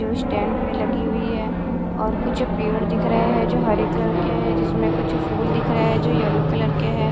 New stand पे लगी हुईं हैं और कुछ पेड़ दिख रहे हैं जो हरे कलर के है जिसमें कुछ फूल दिख रहा है जो येलो कलर के हैं।